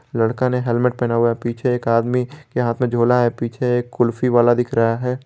लड़का ने हेलमेट पहना हुआ है पीछे एक आदमी यहां से छोला है पीछे एक कुल्फी वाला दिख रहा है।